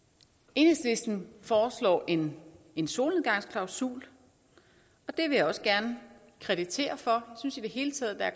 enhedslisten foreslår en en solnedgangsklausul og det vil jeg også gerne kreditere jeg synes i det hele taget at